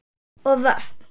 og vötn.